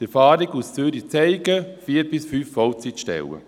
Die Erfahrungen aus Zürich zeigen: vier bis fünf Vollzeitstellen.